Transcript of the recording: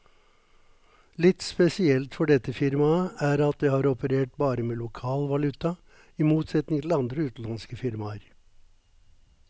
Litt spesielt for dette firmaet er at det har operert bare med lokal valuta, i motsetning til andre utenlandske firmaer.